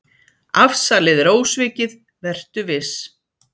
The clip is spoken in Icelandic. Afsalið er ósvikið, vertu viss.